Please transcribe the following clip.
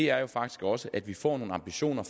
er faktisk også at vi får nogle ambitioner